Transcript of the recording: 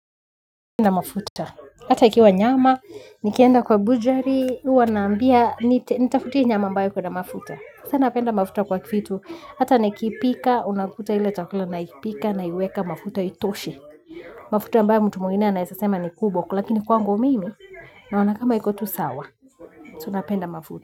Napenda mafuta. Hata ikiwa nyama, nikienda kwa bujari, huwa naambia, nitafutia nyama ambayo iko na mafuta. Tunapenda mafuta kwa vitu. Hata nikipika, unakuta ile chakula naikipika naiweka mafuta itoshe. Mafuta mbayo mtu mwingine anaweza sema ni kubwa, lakini kwangu mimi, naona kama iko tu sawa. Tunapenda mafuta.